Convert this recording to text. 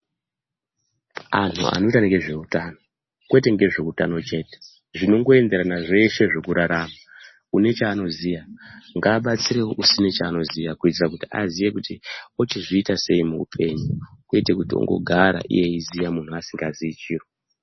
Antu anoita nezvehutano kwete nezve hutano chete zvinoendererana nezveshe zvekurarama une chanoziya ngabatsirewo usina chanoziya kuitira kuti aziye kuti ochizviita sei muhupenyu kwete kuti ongogara eiziya iye asingaziyi chiro.